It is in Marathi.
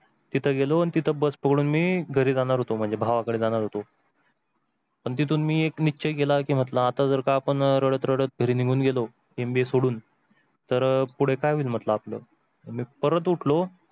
तिथे गेलो आणि तिथून मी bus पकडून मी घरी निघून जाणार होतो म्हणजे भावाकडे जाणार होतो पण तिथून मी एक निश्चय केला की इथून जर आपण रडत रडत घरी निघून गेलो MBA सोडून, तर अह पुढे काय होईल म्हटल आपल आणि परत उठलो